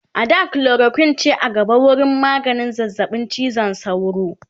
a da chloroquine ce a gaba wurin maganin zazzaɓin cizon sauro